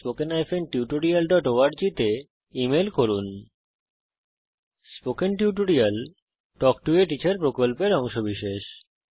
spoken tutorial প্রকল্প talk to a teacher প্রকল্পের অংশবিশেষ